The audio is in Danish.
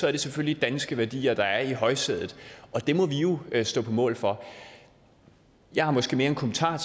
er det selvfølgelig danske værdier der er i højsædet det må vi jo stå på mål for jeg har måske mere en kommentar